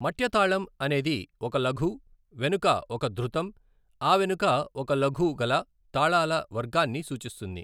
మట్య తాళం అనేది ఒక లఘు, వెనుక ఒక ధృతం, ఆవెనుక ఒక లఘు గల తాళాల వర్గాన్ని సూచిస్తుంది.